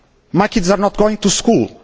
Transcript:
My kids are not going to school